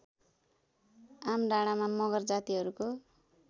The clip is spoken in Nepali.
आमडाँडामा मगर जातिहरूको